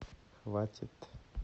хватит